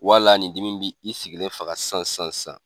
Wala ni dimi in bi i sigilen faga san san san.